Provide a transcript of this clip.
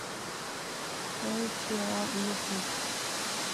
эйпио ютуб